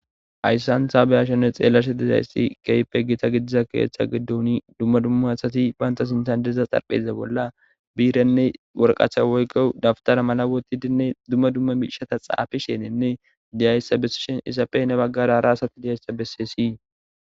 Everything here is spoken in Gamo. Ayssanhaabeyashanne xeellashe dizaysti keype gita gidiza keeththa geddoni dumma dumma asati banta sintandeza xarpheze bolla biirenne worqacha woykko dabtara mala woti dinne dumma dumma miishata xaafisheenenne diyayssabeseshen isapey ne baggara ra asati dihayssa besesii.